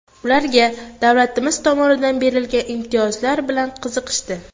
Ularga davlatimiz tomonidan berilgan imtiyozlar bilan qiziqishdi.